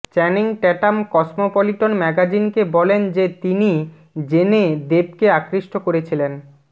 Channing Tatum Cosmopolitan ম্যাগাজিনকে বলেন যে তিনি জেনে দেবকে আকৃষ্ট করেছিলেন